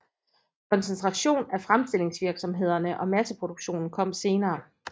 Koncentration af fremstillingsvirksomhederne og masseproduktionen kom senere